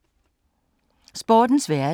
Sportens verden